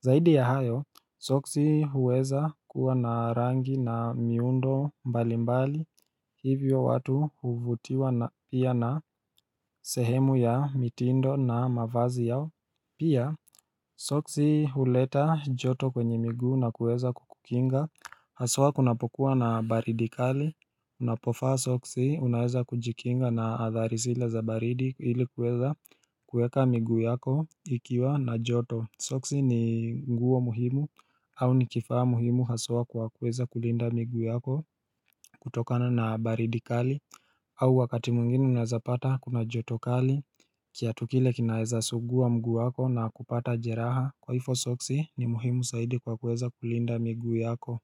Zaidi ya hayo, Soksi huweza kuwa na rangi na miundo mbali mbali, hivyo watu huvutiwa pia na sehemu ya mitindo na mavazi yao Pia, Soksi huleta joto kwenye miguu na kuweza kukukinga Haswa kunapokuwa na baridi kali Unapofa Soksi, unaweza kujikinga na athari zile za baridi ilikuweza kueka migu yako ikiwa na joto Soksi ni nguo muhimu au ni kifaa muhimu haswa kwa kuweza kulinda miguu yako kutokana na baridi kali au wakati mwingine unazapata kuna joto kali kiatu kile kinaeza suguwa mguwako na kupata jeraha Kwaifo soksi ni muhimu saidi kwa kuweza kulinda miguu yako.